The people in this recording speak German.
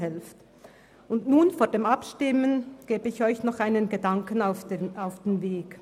Bevor wir abstimmen, gebe ich Ihnen noch einen Gedanken mit auf den Weg.